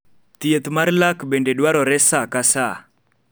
thieth mar lak bende dwarore saa ka saa